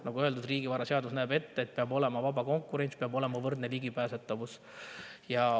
Nagu öeldud, riigivaraseadus näeb ette, et peab olema vaba konkurents, peab olema võrdne ligipääsetavus.